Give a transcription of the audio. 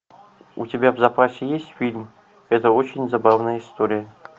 у тебя в запасе есть фильм это очень забавная история